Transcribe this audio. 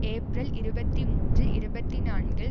April இருபத்தி மூன்று இருபத்தி நான்கில்